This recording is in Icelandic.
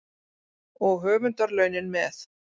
Og höfundarlaunin með.